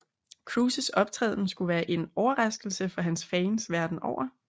Cruises optræden skulle være en overraskelse for hans fans verdenen over